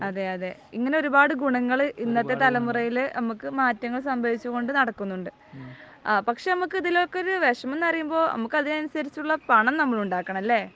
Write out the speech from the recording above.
അതെയതെ. ഇങ്ങനത്തെ ഒരുപാട് ഗുണങ്ങള് ഇന്നത്തെ തലമുറയിലെ നമുക്ക് മാറ്റങ്ങൾ സംഭവിച്ചു കൊണ്ട് നടക്കുന്നുണ്ട്. പക്ഷേ നമുക്ക് ഇതിനൊക്കെ ഒരു വിഷമം എന്നു പറയുമ്പോൾ നമുക്ക് അതിനനുസരിച്ചുള്ള പണം നമ്മൾ ഉണ്ടാക്കണം അല്ലേ?